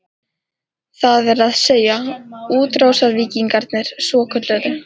Það er að segja, útrásarvíkingarnir svokölluðu?